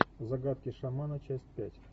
загадки шамана часть пять